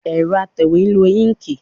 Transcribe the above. Ẹrọ atẹwe n lo inki